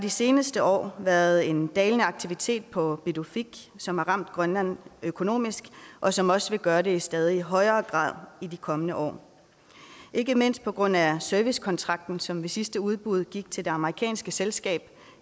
de seneste år været en dalende aktivitet på pituffik som har ramt grønland økonomisk og som også vil gøre det i stadig højere grad i de kommende år ikke mindst på grund af servicekontrakten som ved sidste udbud gik til det amerikanske selskab